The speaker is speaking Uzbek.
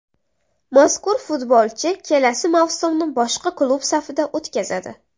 Mazkur futbolchi kelasi mavsumni boshqa klub safida o‘tkazadi.